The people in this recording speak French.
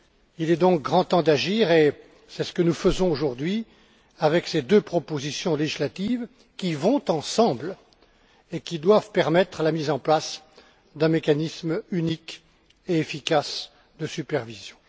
Il est donc grand temps d'agir, et c'est ce que nous faisons aujourd'hui avec ces deux propositions législatives qui vont ensemble et qui doivent permettre la mise en place d'un mécanisme unique et efficace de supervision.